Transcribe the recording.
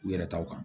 U yɛrɛ taw kan